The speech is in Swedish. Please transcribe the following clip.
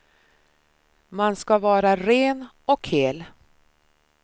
Man ska vara ren och hel.